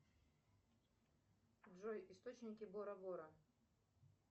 джой источники бора бора